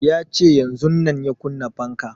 Ya ce yanzun ya kunna fanka